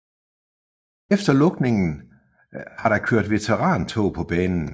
Efter lukningen har der kørt veterantog på banen